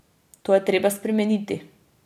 To je treba spremeniti.